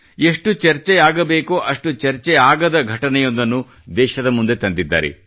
ಎಷ್ಟು ಚರ್ಚೆಯಾಗಬೇಕೋ ಅಷ್ಟು ಚರ್ಚೆಯಾಗದ ಘಟನೆಯೊಂದನ್ನು ದೇಶದ ಮುಂದೆ ತಂದಿದ್ದಾರೆ